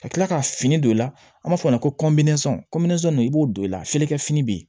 Ka kila ka fini don i la an b'a fɔ o ma ko i b'o don i la ferekɛ fini be yen